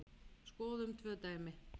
Skoðum tvö dæmi.